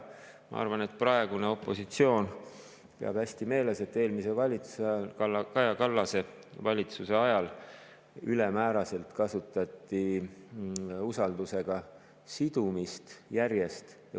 Ma arvan, et praegusel opositsioonil on hästi meeles, et eelmise valitsuse ajal, Kaja Kallase valitsuse ajal kasutati usaldusega sidumist ülemääraselt ja järjest.